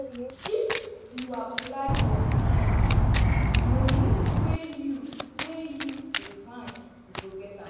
"if you apply your mind money wey you wey you dey find you go get am.